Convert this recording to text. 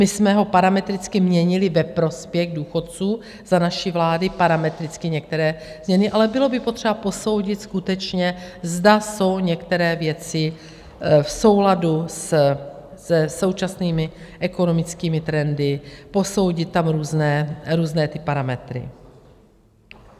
My jsme ho parametricky měnili ve prospěch důchodců, za naší vlády parametricky některé změny, ale bylo by potřeba posoudit skutečně, zda jsou některé věci v souladu se současnými ekonomickými trendy, posoudit tam různé ty parametry.